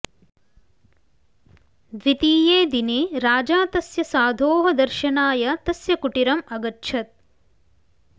द्वितीये दिने राजा तस्य साधोः दर्शनाय तस्य कुटिरम् अगच्छत्